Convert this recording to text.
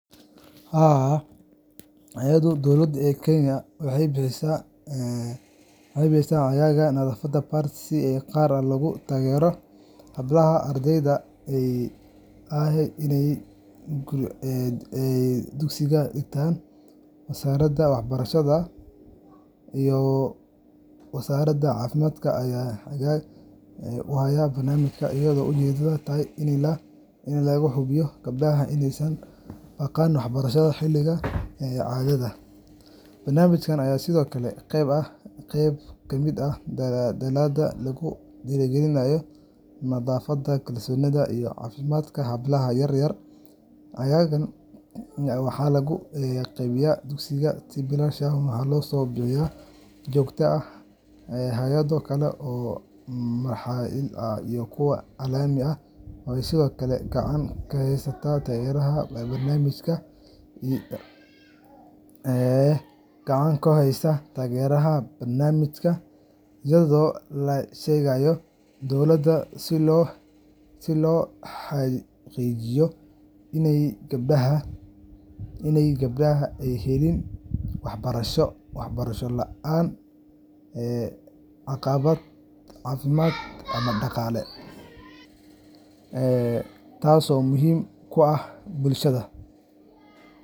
Haa, hay’adaha dowladeed ee Kenya waxay bixiyaan caagagga nadaafadda pads si gaar ah loogu taageero hablaha ardayda ah ee dugsiyada dhigta. Wasaaradda Waxbarashada iyo Wasaaradda Caafimaadka ayaa hoggaanka u haya barnaamijkan, iyadoo ujeeddadu tahay in la hubiyo in gabdhaha aysan u baaqan waxbarashada xilliyada caadada. Barnaamijkan ayaa sidoo kale qeyb ka ah dadaallada lagu dhiirrigelinayo nadaafadda, kalsoonida, iyo caafimaadka hablaha yar yar. Caagagga waxaa lagu qaybiyaa dugsiyada, si bilaash ah, waxaana loo bixiyaa si joogto ah. Hay’ado kale oo maxalli ah iyo kuwa caalami ah ayaa sidoo kale gacan ka geysta taageerada barnaamijka, iyagoo la shaqeeya dowladda si loo xaqiijiyo in gabdhaha ay helaan waxbarasho la’aan caqabad caafimaad ama dhaqaale. taso muhimu oo ah bulshada.